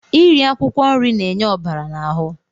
Iri akwụkwọ nri na-enye ọbara n'ahụ.